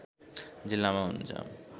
जिल्लामा हुन्छ